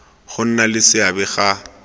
go nna le seabe ga